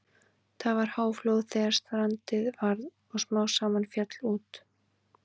Það var háflóð þegar strandið varð og smám saman féll út.